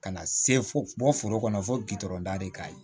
Ka na se fo bɔ foro kɔnɔ fo gudɔrɔn da de k'a ye